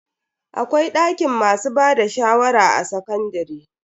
Akwai dakin masu bada shawara a sakandare.